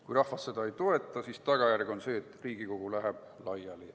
Kui rahvas seda ei toeta, siis tagajärg on see, et Riigikogu läheb laiali.